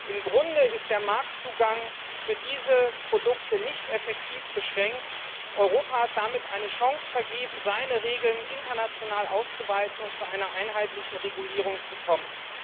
Im Grunde ist der Marktzugang für diese Produkte nicht effektiv beschränkt. Europa hat damit eine Chance vergeben, seine Regeln international auszuweiten und zu einer einheitlichen Regulierung zu kommen.